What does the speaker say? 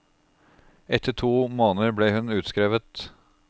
Etter to måneder ble hun utskrevet.